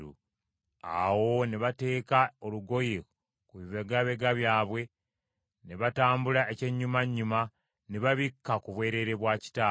Awo ne bateeka olugoye ku bibegabega byabwe ne batambula ekyennyumannyuma, ne babikka ku bwereere bwa kitaabwe.